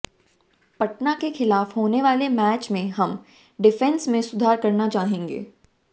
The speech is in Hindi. पटना के खिलाफ होने वाले मैच में हम डिफेंस में सुधार करना चाहेंगे